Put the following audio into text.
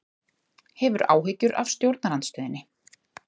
Hefur áhyggjur af stjórnarandstöðunni